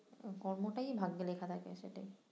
কর্মটাই ভাগ্যে লেখা থাকে সেটাই